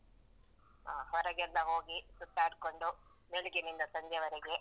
ಆ ಹೊರಗೆಲ್ಲ ಹೋಗಿ ಸುತ್ತಾಡ್ಕೊಂಡು, ಬೆಳಿಗ್ಗಿನಿಂದ ಸಂಜೆವರೆಗೆ.